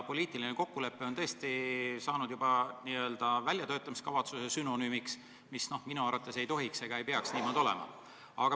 Poliitiline kokkulepe on tõesti saanud juba n-ö väljatöötamiskavatsuse sünonüümiks, minu arvates see ei tohiks niimoodi olla.